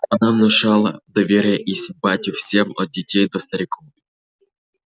она внушала доверие и симпатию всем от детей до стариков